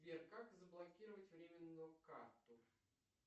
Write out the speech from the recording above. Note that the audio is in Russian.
сбер как заблокировать временную карту